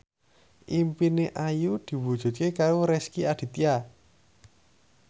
impine Ayu diwujudke karo Rezky Aditya